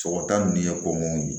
Sɔgɔta nin ye kɔn ye